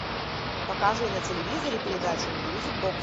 покажи на телевизоре передачу мьюзик бокс